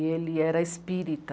E ele era espírita.